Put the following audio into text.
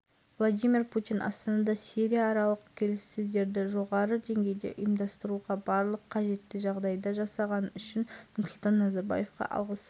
қазақстан президенті нұрсұлтан назарбаев ресей федерациясының президенті владимир путинмен телефон арқылы сөйлесті деп хабарлайды мемлекет басшысының баспасөз қызметіне сілтеме жасап